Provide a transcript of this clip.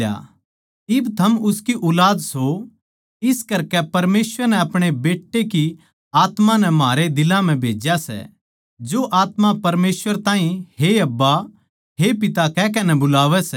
इब थम उसकी ऊलाद सों इस करकै परमेसवर नै अपणे बेट्टे की आत्मा नै म्हारे दिलां म्ह भेज्या सै जो आत्मा परमेसवर ताहीं हे अब्बा हे पिता कहकै नै बुलावै सै